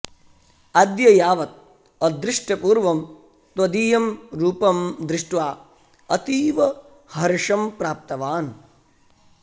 अद्य यावत् अदृष्टपूर्वं त्वदीयं रूपं दृष्ट्वा अतीव हर्षं प्राप्तवान्